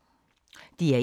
DR1